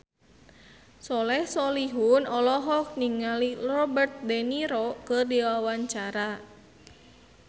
Soleh Solihun olohok ningali Robert de Niro keur diwawancara